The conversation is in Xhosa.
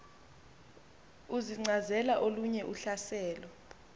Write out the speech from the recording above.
uzincazela olunye uhlaselo